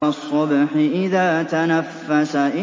وَالصُّبْحِ إِذَا تَنَفَّسَ